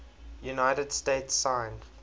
united states signed